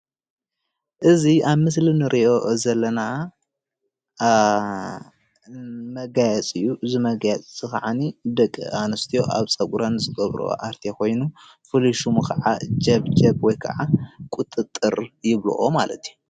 ሰብ ስራሕ ፀግሪ ዝተወሰኮ ቁናኖ ደቂ ኣንስትዮ እዩ።